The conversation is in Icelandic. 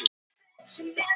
Háhýsi í ljósum logum